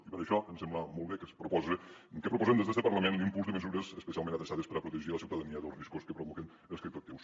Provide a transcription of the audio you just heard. i per això ens sembla molt bé que es propose que proposem des d’este parlament l’impuls de mesures especialment adreçades per a protegir la ciutadania dels riscos que provoquen els criptoactius